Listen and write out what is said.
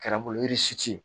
Kɛra bolo